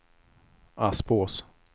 Aspås